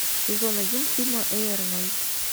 сезон один фильма эй арнольд